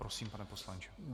Prosím, pane poslanče.